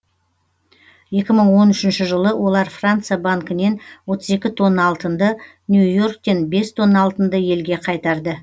екі мың он үшінші жылы олар франция банкінен отыз екі тонна алтынды нью йорктен бес тонна алтынды елге қайтарды